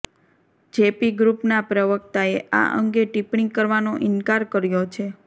JP ગ્રૂપના પ્રવક્તાએ આ અંગે ટિપ્પણી કરવાનો ઇન્કાર કર્યો છે